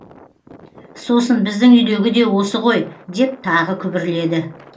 сосын біздің үйдегі де осы ғой деп тағы күбірледі